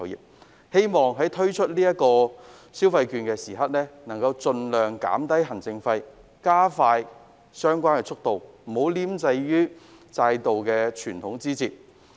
我希望政府在推出消費券時可盡量減低行政費，加快推行速度，不要拘泥於制度上的枝節。